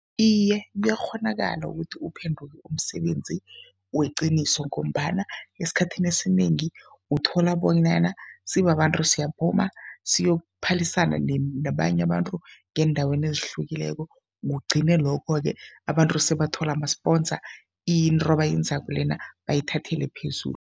Iye, kuyakghonakala ukuthi uphenduke umsebenzi weqiniso ngombana esikhathini esinengi uthola bonyana sibabantu siyaphuma, siyokuphalisana nabanye abantu ngeendaweni ezihlukileko, kugcine lokho-ke abantu sebathola ama-sponsor, into abayenzako lena bayithathele phezulu.